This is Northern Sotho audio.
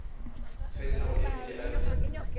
tshwenyago e bile a di